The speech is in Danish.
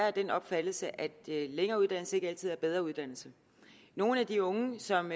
af den opfattelse at længere uddannelse ikke altid er bedre uddannelse nogle af de unge som